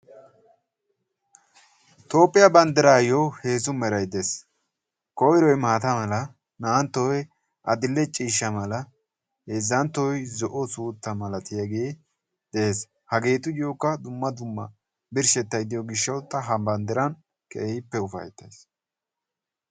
Toophphiyaa banddiraayyo heezzu meray dees, koyroy maata mala, naa'anttoy adil"e ciishsha mala, heezanttoy zo'o suutta malattiyage dees, hagettuyookka dumma dumma birshshettay de'yo gishshawu ta ha banddiran keehippe ufayttays.